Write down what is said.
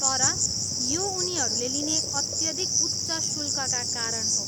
तर यो उनीहरूले लिने अत्यधिक उच्च शुल्कका कारण हो।